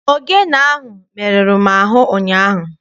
Ogene ahụ merụrụ m ahụ ụnyaahụ.